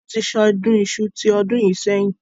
Wọn tí ṣe ọdún Iṣu tí ọdún yìí sẹ́yìn.